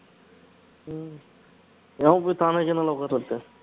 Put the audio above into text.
எவன் போய் தானா channel ல உட்கார்றது